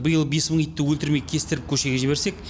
биыл бес мың итті өлтірмей кестіріп көшеге жіберсек